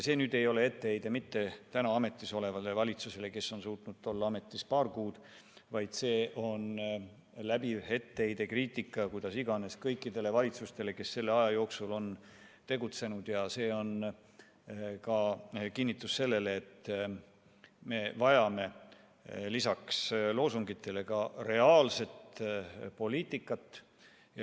See ei ole etteheide praegu ametis olevale valitsusele, kes on suutnud olla ametis vaid paar kuud, vaid see on läbiv etteheide, kriitika, kuidas iganes, kõikidele valitsustele, kes selle aja jooksul on tegutsenud, ja see on kinnitus selle kohta, et me vajame lisaks loosungitele ka reaalset poliitikat.